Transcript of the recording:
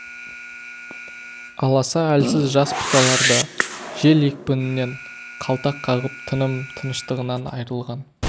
аласа әлсіз жас бұталар да жел екпінінен қалтақ қағып тыным тыныштығынан айырылған